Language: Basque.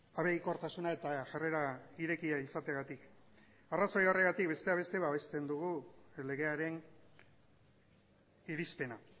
abegikortasuna eta jarrera irekia izateagatik arrazoi horregatik besteak beste babesten dugu legearen irizpena